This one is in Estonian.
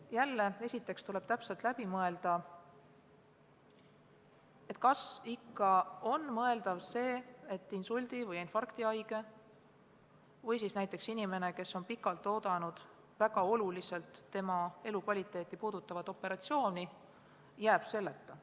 Jälle, esiteks tuleb täpselt läbi mõelda, kas ikka on mõeldav see, et insuldi- või infarktihaige või näiteks inimene, kes on pikalt oodanud väga oluliselt tema elukvaliteeti parandavat operatsiooni, jääb ravist ilma.